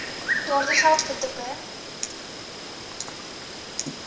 daardie geld betrokke